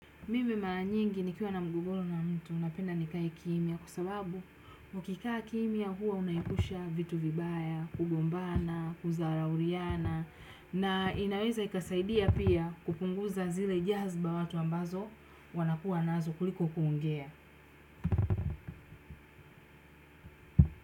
Mimi mara nyingi nikiwa na mgogoro na mtu napenda nikae kimya kwa sababu ukikaa kimya huwa unaepusha vitu vibaya, kugombana, kudharauliana na inaweza ikasaidia pia kupunguza zile jazba watu ambazo wanakuwa nazo kuliko kuongea.